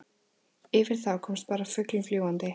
Yfir þá komst bara fuglinn fljúgandi.